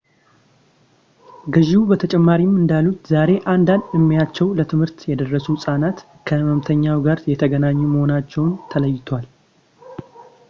ገዢው በተጨማሪ እንዳሉት ዛሬ አንዳንድ ዕድሜያቸው ለትምህርት የደረሱ ሕፃናት ከሕመምተኛው ጋር የተገናኙ መሆናቸው ተለይቷል